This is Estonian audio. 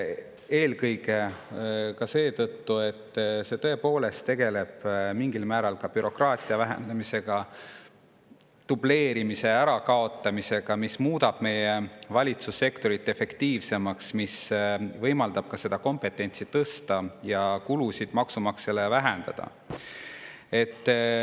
Eelkõige seetõttu, et see tõepoolest tegeleb mingil määral bürokraatia vähendamise ja dubleerimise ärakaotamisega, mis muudab meie valitsussektori efektiivsemaks, võimaldab kompetentsi tõsta ja kulusid maksumaksjale vähendada.